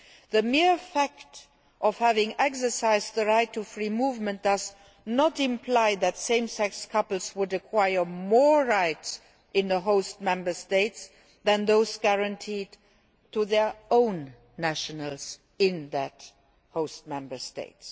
The mere fact of having exercised the right to free movement does not imply that same sex couples would acquire more rights in the host Member State than those guaranteed to their own nationals in that Member State.